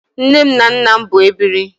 Nne m na nnam bụ ebiri